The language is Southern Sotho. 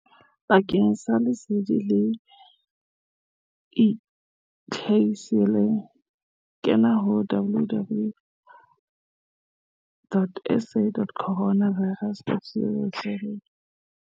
Bakeng sa lesedi le eketsehileng kena ho www.sacorona virus.co.za